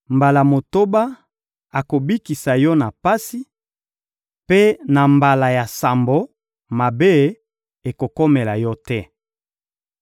Mbala motoba, akobikisa yo na pasi; mpe na mbala ya sambo, mabe ekokomela yo te.